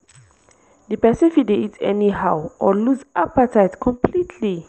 di pesin fit dey eat anyhow or lose appetite completely